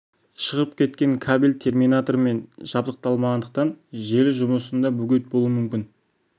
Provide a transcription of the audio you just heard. шығып кеткен кабель терминатормен жабдықталмағандықтан желі жұмысында бөгет болуы мүмкін